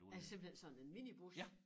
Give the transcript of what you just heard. Altså simpelthen sådan en minibus?